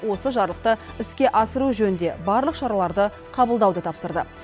осы жарлықты іске асыру жөнінде барлық шараларды қабылдауды тапсырды